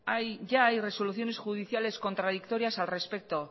ya hay resoluciones judiciales contradictorias al respecto